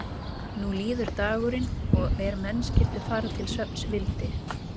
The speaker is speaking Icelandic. Nú líður dagurinn og er menn skyldu fara til svefns vildi